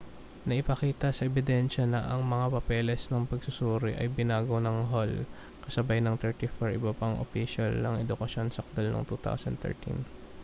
naipakita sa ebidensya na ang mga papeles ng pagsusuri ay binago ng hall kasabay ng 34 iba pang opisyal ng edukasyon sakdal noong 2013